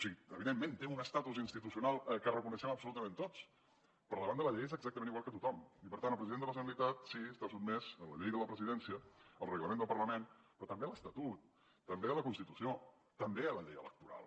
sí evidentment té un estatus institucional que reconeixem absolutament tots però davant de la llei és exactament igual que tothom i per tant el president de la generalitat sí està sotmès a la llei de la presidència al reglament del parlament però també a l’estatut també a la constitució també a la llei electoral